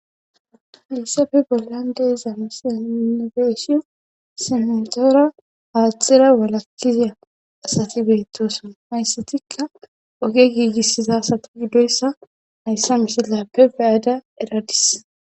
Hadyssafe bollandeyiza misanobeeshi simetoora aatxira walakkizya asati beyttosona hayssatikka oge giigissiza asati giddoyssa mayssa misilyappe beyada eradis.